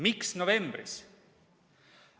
Miks novembris?